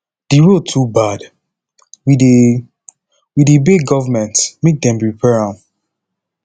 the road too bad we dey we dey beg government make dem repair am